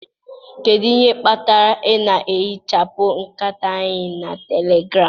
Kedu ihe kpatara ị na-ehichapụ nkata anyị na telegram?